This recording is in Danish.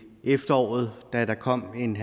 da der kom en